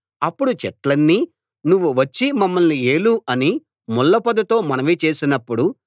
అప్పుడు చెట్లన్నీ నువ్వు వచ్చి మమ్మల్ని ఏలు అని ముళ్ళపొదతో మనవి చేసినప్పుడు